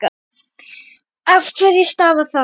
Af hverju stafar það?